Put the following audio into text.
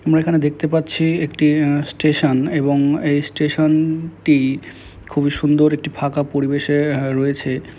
আমরা এখানে দেখতে পাচ্ছি একটি উম স্টেশন এবং এই স্টেশন -টি খুবই সুন্দর একটি ফাঁকা পরিবেশে -এ রয়েছে ।